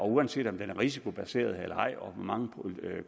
uanset om den er risikobaseret eller ej og hvor mange